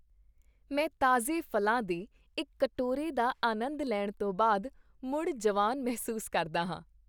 ਮੈਂ ਤਾਜ਼ੇ ਫ਼ਲਾਂ ਦੇ ਇੱਕ ਕਟੋਰੇ ਦਾ ਆਨੰਦ ਲੈਣ ਤੋਂ ਬਾਅਦ ਮੁੜ ਜਵਾਨ ਮਹਿਸੂਸ ਕਰਦਾ ਹਾਂ।